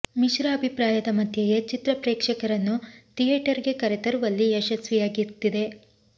ಮಿಶ್ರ ಅಭಿಪ್ರಾಯದ ಮಧ್ಯೆಯೇ ಚಿತ್ರ ಪ್ರೇಕ್ಷಕರನ್ನು ಥಿಯೇಟರ್ ಗೆ ಕರೆ ತರುವಲ್ಲಿ ಯಶಸ್ವಿಯಾಗ್ತಿದೆ